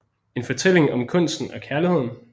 En fortælling om kunsten og kærligheden